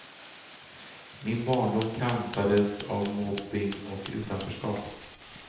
Min barndom kantades av mobbning och utanförskap.